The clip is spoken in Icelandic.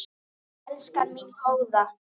Elskan mín góða.